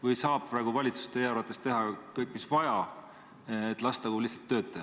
Või saab valitsus teie arvates teha praegu kõik, mis vaja?